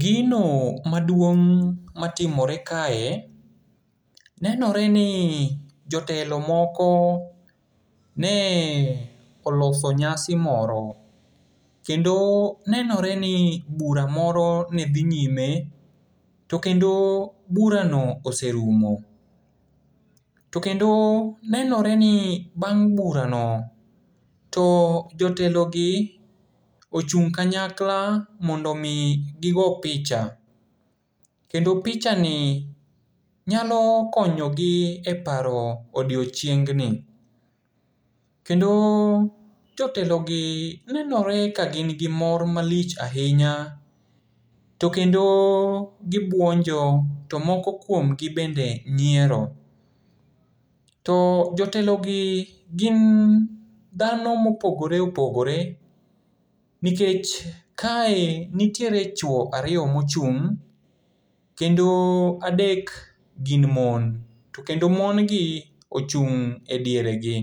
Gino maduong' matimore kae, nenoreni jotelo moko ne oloso nyasi moro. Kendo nenoreni bura moro ne dhi nyime, to kendo burano oserumo. To kendo nenoreni bang' burano, to jotelogi ochung' kanyakla mondomi gigo picha. Kendo pichani nyalo konyogi e paro odiochiengni. To kendo jotelogi nenoreni ka gin gi mor malich ahinya, to kendo gibuonjo to moko kuomgi bende nyiero. To jotelogi gin dhano mopogore opogore, nikech kae nitiere chuo ariyo mochung', kendo adek gin mon. To kendo mon gi ochung' e diere gi.